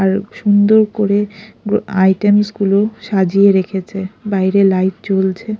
আর সুন্দর করে আইটেমস গুলো সাজিয়ে রেখেছে বাইরে লাইট জ্বলছে।